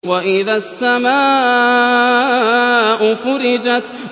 وَإِذَا السَّمَاءُ فُرِجَتْ